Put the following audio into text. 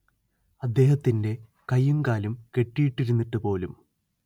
അദ്ദേഹത്തിന്റെ കൈയും കാലും കെട്ടിയിട്ടിരുന്നിട്ടുപോലും